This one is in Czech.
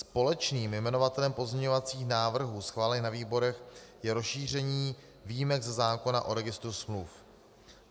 Společným jmenovatelem pozměňovacích návrhů schválených na výborech je rozšíření výjimek ze zákona o registru smluv.